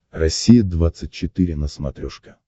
россия двадцать четыре на смотрешке